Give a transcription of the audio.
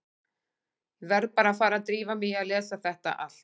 Ég verð bara að fara að drífa mig í að lesa þetta allt.